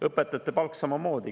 Õpetajate palgaga on samamoodi.